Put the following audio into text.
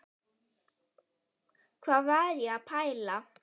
Hvað var ég að pæla?